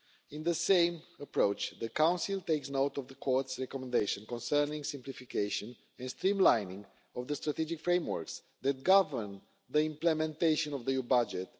In the same approach, the Council takes note of the Court's recommendation concerning the simplification and streamlining of the strategic frameworks that govern the implementation of the EU budget.